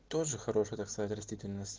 тоже хорошая так сказать растительность